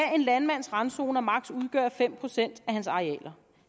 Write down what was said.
en landmands randzoner maksimum udgør fem procent af hans arealer